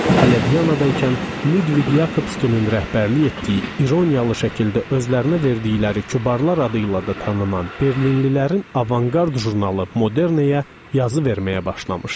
Hələ Viyanada ikən Lüdviq Yakobskinin rəhbərlik etdiyi, ironiyalı şəkildə özlərinə verdikləri "Kubar"lar adı ilə də tanınan Berlinlilərin "Avangard" jurnalı "Moderne"yə yazı verməyə başlamışdım.